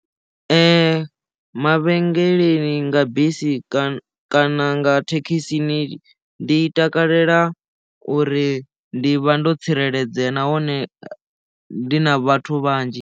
Mavhengeleni nga bisi kana nga thekhisi ndi takalela uri ndi vha ndo tsireledzea nahone ndi na vhathu vhanzhi.